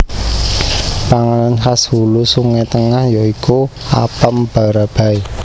Panganan khas Hulu Sungai Tengah ya iku Apam Barabai